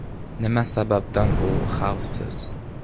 Nima sababdan u xavfsiz?